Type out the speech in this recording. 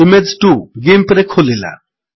image 2 GIMPରେ ଖୋଲିଲା